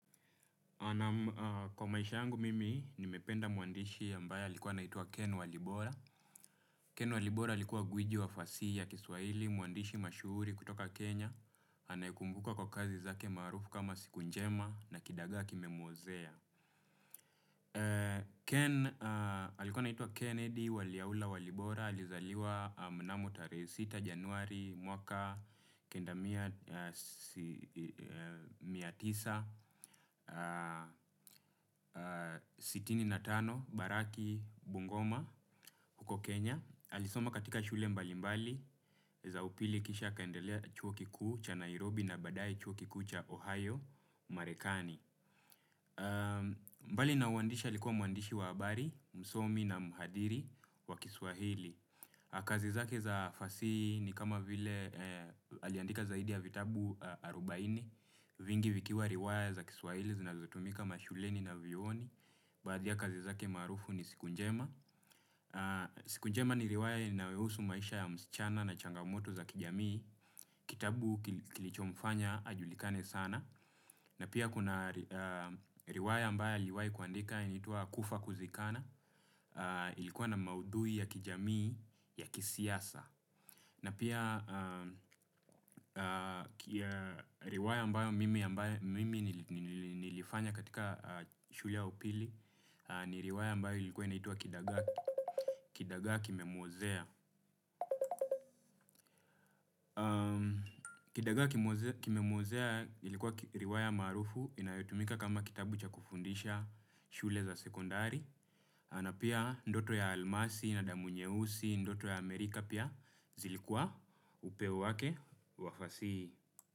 Kwa maisha yangu mimi, nimependa muandishi ambaye alikuwa anaitwa Ken Walibora. Ken Walibora alikuwa gwiji wa fasihii ya kiswahili mwandishi mashuhuri kutoka kenya. Anayekumbukwa kwa kazi zake maarufu kama 'Siku Njema' na 'Kidagaa Kimemuozea'. Ken alikuwa anaitwa Kennedy Waliaula Walibora. Alizaliwa mnamo tarehe sita januari, mwaka kendamia mia tisa sitini na tano, Baraki Bungoma huko Kenya alisoma katika shule mbali mbali za upili kisha kaendelea chuo kikuu cha Nairobi na baadaye chuo kiku cha Ohayo Marekani. Mbali na uandishi alikuwa muandishi wa habari, msomi na muhadhiri wa kiswahili. Kazi zake za fasihi ni kama vile aliandika zaidi ya vitabu arubainne. Vingi vikiwa riwaya za kiswahili zinazotumika mashuleni na vyioni. Baadhi ya kazi zake maharufu ni Siku Njema. Siku Njema ni riwaya inayohusu maisha ya msichana na changamoto za kijamii. Kitabu kilichomfanya ajulikane sana. Na pia kuna riwaya ambayo aliyowaai kuandika inaitwa Kufa Kusikana. Ilikuwa na maudhui ya kijamii ya kisiasa. Na pia riwaya ambayo mimi nilifanya katika shule ya upili ni riwaya ambayo ilikuwa inaitwa Kidagaa Kimemuozea. Kidagaa Kimemuozea ilikuwa riwaya maharufu inayotumika kama kitabu cha kufundisha shule za sekondari. Na pia Ndoto ya Almasi na Damu Nyeusi, Ndoto ya Amerika pia zilikuwa upeo wake wa fasihi hii.